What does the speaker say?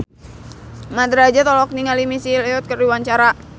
Mat Drajat olohok ningali Missy Elliott keur diwawancara